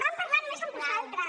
van parlar només amb vosaltres